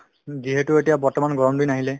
যিহেতু এতিয়া বৰ্তমান গৰম দিন আহিলে